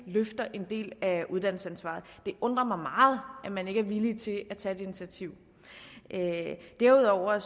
løfter en del af uddannelsesansvaret det undrer mig meget at man ikke er villig til at tage det initiativ derudover er